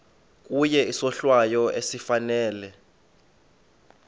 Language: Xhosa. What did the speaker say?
kuye isohlwayo esifanele